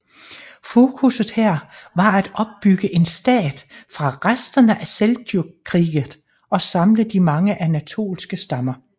Fokusset her var at opbygge en stat fra resterne af Seljukriget og samle de mange Anatoliske stammer